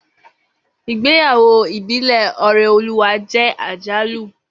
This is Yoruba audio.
Igbeyawo ibile Oreoluwa je ajalu